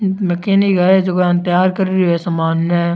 नकिनी गाले जको आने तैयार कर रियो है सामान ने।